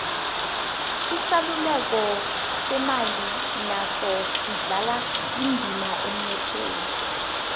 isaluleko semali naso sidlala indima emnothweni